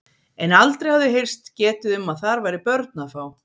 En aldrei hafði heyrst getið um að þar væri börn að fá.